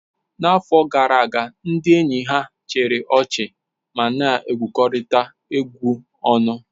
N'afọ gara aga, ndị enyi ha chịrị ọchị ma na egwukọrita egwu ọnụ.